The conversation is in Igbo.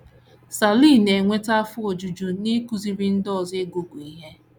Sirley na - enweta afọ ojuju n’ịkụziri ndị ọzọ ịgụ ịgụ ihe